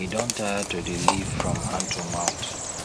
e don tire to dey live from hand to mouth